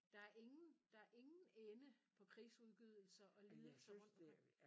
Der er ingen der er ingen ende på krigsudgydelser og lidelser rundt omkring